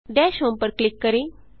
दश होम पर क्लिक करें